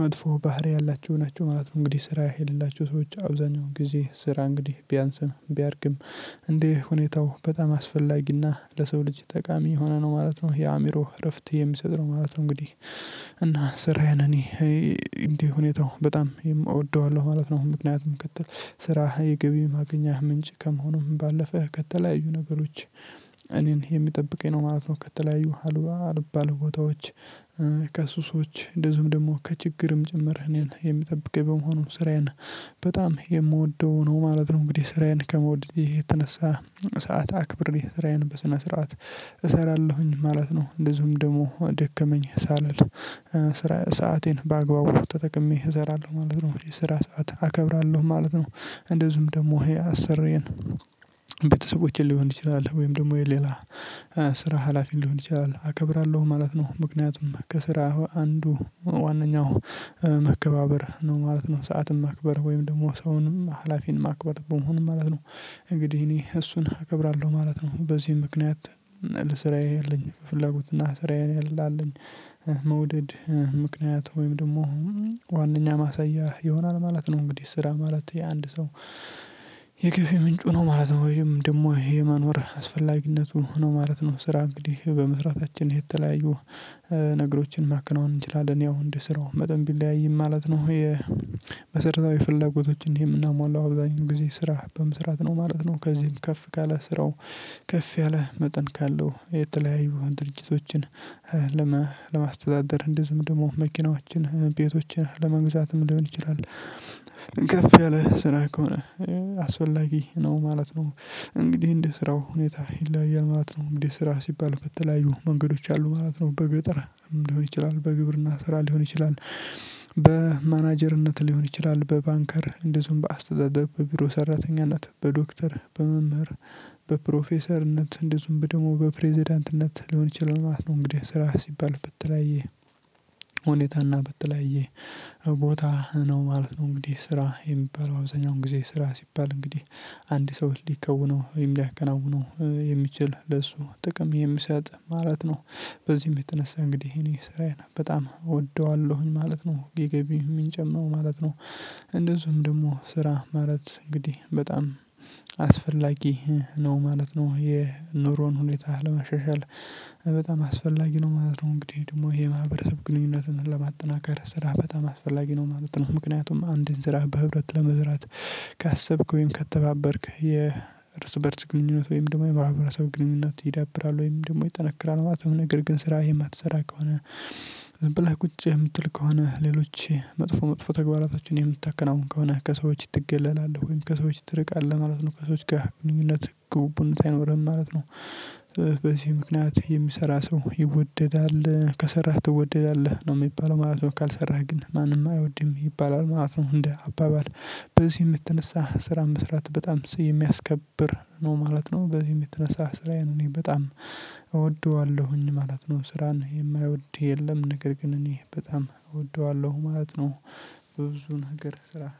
መጥፎ ባህሪ ያላቸው ናቸው ማለት ነው እንግዲህ ስራ የሌላቸው ሰዎች አብዛኛውን ጊዜ ስራ እንግዲህ ቢያንስም ቢያድግም እንደ ሁኔታው በጣም አስፈላጊና ለሰው ልጅ ጠቃሚ የሆነ ነው ማለት ነው የአእምሮ እረፍት የሚሰጥ ነው ማለት ነው። እንግዲህ እና ስራዬን እኔ እንዲህ ሁኔታው በጣም እወደዋለሁ ማለት ነው ምክንያቱም ከትል ስራህ የገቢ ማገኛህ ምንጭ ከመሆኑም ባለፈ ከተለያዩ ነገሮች እኔን የሚጠብቀኝ ነው ማለት ነው ከተለያዩ አልባ አልባሌ ቦታዎች፣ ከሱሶች እንደዚሁም ደግሞ ከችግርም ጭምር እኔን የምጠብቀኝ በመሆኑ ስራዬን በጣም የምወደው ነው ማለት ነው እንግዲህ ስራዬን ከመውደዴ የተነሳ ሰዓት አክብሬ ስራዬን በስነ ስርዓት እሰራለሁኝ ማለት ነው እንደዚሁም ደግሞ ደከመኝ ሳልል ሰአቴን በአግባቡ ተጠቅሜ እሰራለሁ ማለት ነው፣ የስራ ሰዓት አከብራለሁ ማለት ነው፣ እንደዚሁም ደግሞ ይሄ አሰርየን ቤተሰቦቼን ሊሆን ይችላል ወይም ደግሞ የሌላ ስራ ሀላፊ ሊሆን ይችላል አከብራለሁ ማለት ነው ምክንያቱም ከስራ አንዱ ዋነኛው መከባበር ነው ማለት ነው ሰዓትን ማክበር ወይም ደግሞ ሰውን ሀላፊን ማክበር በመሆን ማለት ነው እንግዲህ እኔ እሱን እከብራለሁ ማለት ነው፣ በዚህ ምክንያት ስራዬ ያለኝ ፍላጎት እና ስራዬ ላለኝ መውደድ ምክንያት ወይም ደግሞ ዋናኛ ማሳያ ይሆናል ማለት ነው። እንግዲህ ስራ ማለት የአንድ ሰው የገቢ ምንጩ ነው ማለት ነው ወይም ደግሞ ይሄ መኖር አስፈላጊነቱ ነው ሆኖ ማለት ነው ስራ እንግዲህ በመስራታችን የተለያየ ነገሮችን ማከናወን እንችላለን ያው እንድስራው መጠን ቢለያይም ማለት ነው የመሰረታዊ ፍለጎቶችን የምናሟላው አብዛኛው ጊዜ ስራ በመስራት ነው ማለት ነው፣ ከዚህም ከፍ ካለ ስራው ከፍ ያለ መጠን ካለው የተለያዩ ድርጅቶችን ለማስተዳደር እንደዚሁም ደግሞ መኪናዎችን፣ ቤቶችን ለመግዛትም ሊሆን ይችላል። ከፍ ያለ ስራ ከሆነ አስወላጊ ነው ማለት ነው እንግዲህ እንድስራው ሁኔታ ይለያል ማለት ነው እንግዲህ ስራ ሲባል በተለያዩ መንገዶች አሉ ማለት ነው በገጠር ሊሆን ይችላል በግብርና ስራ ሊሆን ይችላል በማናጀርነት ሊሆን ይችላል፣ በባንከር እንደዚሁም በአስተዳደር፣ በቢሮ ሰራተኛነት፣ በዶክተር፣ በመምህር፣ በፕሮፌሰርነት እንደዚሁም በደግሞ በፕሬዝዳንትነት ሊሆን ይችላል ማለት ነው እንግዲህ ስራ ሲባል በተለያየ ሁኔታና በተለያየ ቦታ ነው ማለት ነው እንግዲህ ስራ የሚባለው አብዛኛውን ጊዜ ስራ ሲባል እንግዲህ አንድ ሰው ሊከውነው ወይም ሊያከናውነው የሚችል ለሱ ጥቅም የሚሰጥ ማለት ነው፣ በዚህም የተነሳ እንግዲህ እኔ ስራዬን በጣም እወደዋለሁኝ ማለት ነው የገቢ የምንጬም ነው ማለት ነው። እንደዚሁም ደግሞ ስራ ማለት እንግዲህ በጣም አስፈላጊ ነው ማለት ነው የኑሮን ሁኔታ ለማሻሻል በጣም አስፈላጊ ነው ማለት ነው እንግዲህ ደግሞ የማህበረሰብ ግንኙነትን ለማጠናከር ስራ በጣም አስፈላጊ ነው ማለት ነው ምክንያቱም አንድን ስራ በህብረት ለመስራት ካሰብክ ወይም ከተባበርክ የእርስ በእርስ ግንኙነት ወይም ደግሞ የማህበረሰብ ግንኙነት ይዳብራል ወይም ደግሞ ይጠነክራል ማለት ነው፤ ነገር ግን ስራ የማትሰራ ከሆነ ዝምብለህ ቁጭ የምትል ከሆነ ሌሎች መጥፎ መጥፎ ተግባራቶችን የምታከናውን ከሆነ ከሰዎች ትገለላለህ ወይም ከሰዎች ትርቃለህ ማለት ነው ከሰዎች ጋር ብንኝነት ጉቡቡነት አይኖርህም ማለት ነው። በዚህ ምክንያት የሚሰራ ሰው ይወደዳል፣ ከሰራህ ትወደዳለህ ነው የሚባለው ማለት ነው ካልሰራህ ግን ማንም አይወድም ይባላል ማለት ነው እንደ አባባል በዚህም የተነሳ ስራ መስራት በጣም ሰው የሚያስከብር ነው ማለት ነው፣ በዚህ የተነሳ ስራዬን እኔ በጣም እወደዋለሁኝ ማለት ነው ስራን የማይወድ የለም ነገር ግን እኔ በጣም እወደዋለሁ ማለት ነው። በብዙ ነገር ስራ